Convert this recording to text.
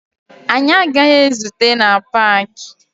Anyị agaghị ezute na paakị